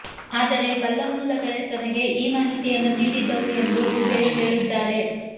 ಆದರೆ ಬಲ್ಲಮೂಲಗಳೇ ತನಗೆ ಈ ಮಾಹಿತಿಯನ್ನು ನೀಡಿದ್ದವು ಎಂದು ದುಬೆ ಹೇಳಿದ್ದಾರೆ